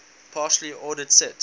partially ordered set